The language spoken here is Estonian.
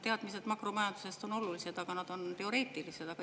Teadmised makromajandusest on olulised, aga need on teoreetilised.